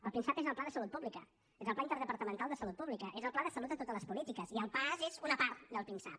el pinsap és el pla de salut pública és el pla interdepartamental de salut pública és el pla de salut a totes les polítiques i el paas és una part del pinsap